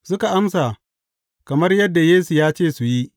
Suka amsa kamar yadda Yesu ya ce su yi.